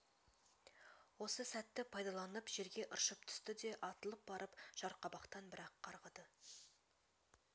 осы сәтті пайдаланып жерге ыршып түсті де атылып барып жарқабақтан бір-ақ қарғыды